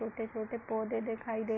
छोटे-छोटे पौधे दिखाई दे --